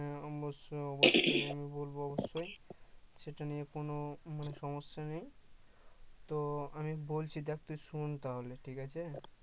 হ্যাঁ অবশ্যই অবশ্যই আমি বলবো অবশ্যই সেটা নিয়ে কোন মানে সমস্যা নেই তো আমি বলছি দেখ তুই শুন তাহলে ঠিকাছে